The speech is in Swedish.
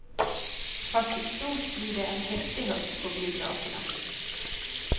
Fast i stort blir det en häftig höst på biograferna.